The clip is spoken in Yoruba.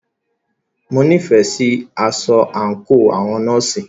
Mo nífẹẹ sí aṣọ àńkò àwọn nọ́ọ̀sì.